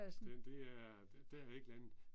Den det er, der har jeg ikke landet